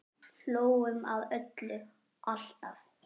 Hlógum að öllu, alltaf.